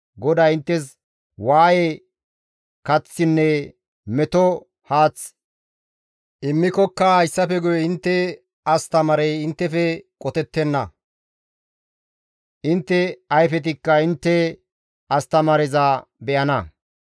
GODAY inttes waaye kaththinne meto haath immikokka hayssafe guye intte astamaarey inttefe qotettenna; intte ayfetikka intte astamaareza be7ana.